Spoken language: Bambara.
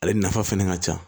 Ale nafa fɛnɛ ka ca